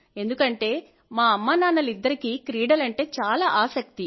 ఎందుకంటే మా అమ్మానాన్నలిద్దరికీ క్రీడలంటే చాలా ఆసక్తి